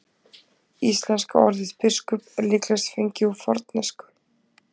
Íslenska orðið biskup er líklegast fengið úr fornensku.